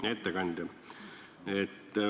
Hea ettekandja!